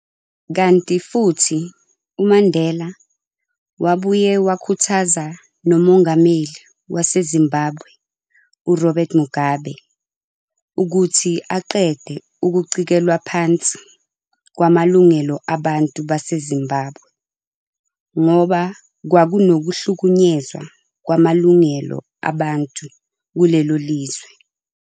Kanti futhi uMandela wabuye wakhuthaza noMongameli waseZimbabwe uRobert Mugabe ukuthi aqede ukucikelwa phansi kwamalungelo abantu baseZimbabwe, ngoba kwakunokuhlukunyezwa kwamalungelo abantu kulelo lizwe.